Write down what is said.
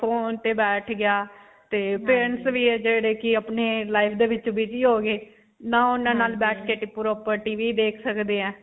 phone ਤੇ ਬੈਠ ਗਿਆ ਤੇ friends ਵੀ ਹੈ ਜਿਹੜੇ ਕਿ ਅਪਨੇ line ਦੇ ਵਿੱਚ ਵੀ ਨਹੀਂ ਹੋਣਗੇ. ਨਾ ਉਨ੍ਹਾਂ ਨਾਲ ਬੈਠੇ ਕੇ proper initialTVinitial ਦੇਖ ਸਕਦੇ ਹਾਂ.